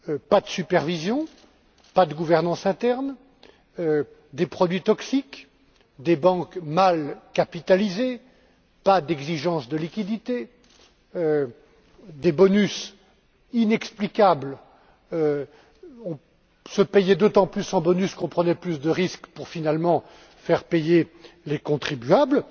pas de supervision, pas de gouvernance interne, des produits toxiques, des banques mal capitalisées, pas d'exigence de liquidités, des bonus inexplicables se payer d'autant plus en bonus qu'on prenait plus de risques pour finalement faire payer les contribuables.